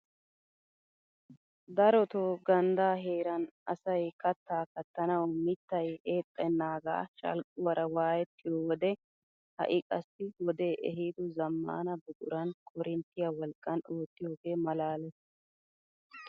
Darotoo ganddaa heeran asay kattaa kattanawu mittay eexxanaagaa shalquwaara wayettiyoo wode ha'i qassi wodee ehido zammaana buquran korinttiyaa wolqqaan oottiyoogee malaalees!